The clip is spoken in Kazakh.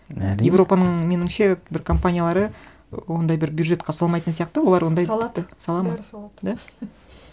әрине европаның меніңше бір компаниялары ондай бір бюджетке салмайтын сияқты олар ондай тіпті салады салады ма бәрі салады да